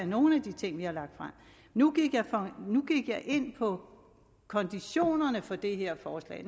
nogle af de ting vi har lagt frem nu gik jeg ind på konditionerne og præmisserne for det her forslag